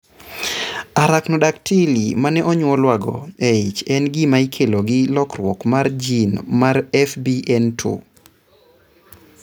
Arachnodactyly ma ne onyuolwago e ich en gima ikelo gi lokruok mar gene mar FBN2.